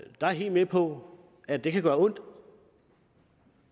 jeg helt med på at det kan gøre ondt